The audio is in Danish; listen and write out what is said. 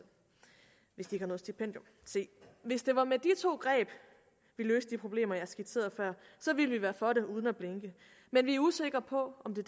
hvis de ikke har noget stipendium se hvis det var med de to greb vi løste de problemer jeg skitserede før så ville vi være for det uden at blinke men vi er usikre på om det